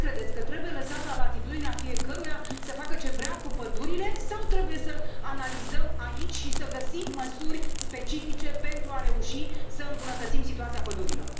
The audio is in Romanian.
Ce credeți, că trebuie lăsat la latitudinea fiecăruia să facă ce vrea cu pădurile sau trebuie să analizăm aici și să găsim măsuri specifice pentru a reuși să îmbunătățim situația pădurilor?